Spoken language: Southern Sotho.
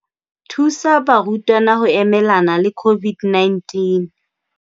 Thusa barutwana ho emelana le COVID-19